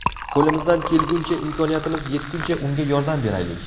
Qo‘limizdan kelguncha, imkoniyatimiz yetguncha unga yordam beraylik.